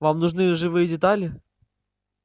вам нужны живые детали